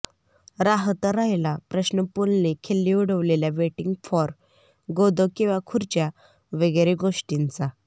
राहता राहिला प्रश्न पुलंनी खिल्ली उडवलेल्या वेटिंग फॉर गोदो किंवा खुर्च्या वगैरे गोष्टींचा